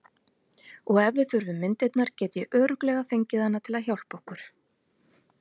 Og ef við þurfum myndirnar get ég örugglega fengið hana til að hjálpa okkur.